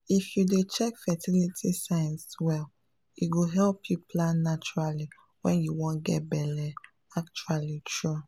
if you dey check fertility signs well e go help you plan naturally when you wan get belle — actually true!